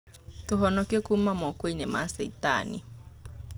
Tũ honokie kũma mako-inĩ ma caitani.